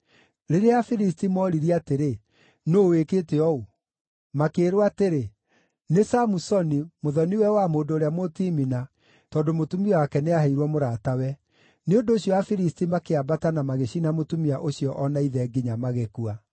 Rĩrĩa Afilisti mooririe atĩrĩ, “Nũũ wĩkĩte ũũ?” Makĩĩrwo atĩrĩ, “Nĩ Samusoni, mũthoni-we wa mũndũ ũrĩa Mũtimina, tondũ mũtumia wake nĩaheirwo mũratawe.” Nĩ ũndũ ũcio Afilisti makĩambata na magĩcina mũtumia ũcio o na ithe nginya magĩkua.